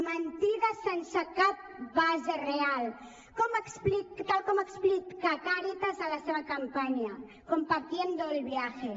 mentides sense cap base real tal com explica càritas a la seva campanya compartiendo el viaje